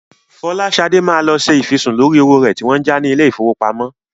Fọláṣadé máa lọ ṣe ìfisùn lórí owó rẹ̀ tí wọ́n ń já ní ilé-ìfowópamọ́.